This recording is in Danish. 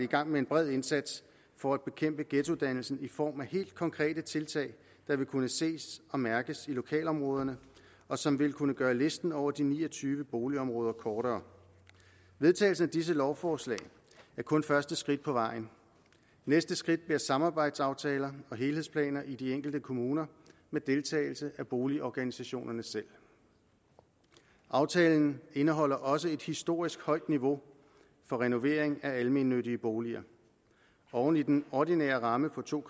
gang med en bred indsats for at bekæmpe ghettodannelsen i form af helt konkrete tiltag der vil kunne ses og mærkes i lokalområderne og som vil kunne gøre listen over de ni og tyve boligområder kortere vedtagelsen af disse lovforslag er kun første skridt på vejen og næste skridt bliver samarbejdsaftaler og helhedsplaner i de enkelte kommuner med deltagelse af boligorganisationerne selv aftalen indeholder også et historisk højt niveau for renovering af almennyttige boliger oven i den ordinære ramme på to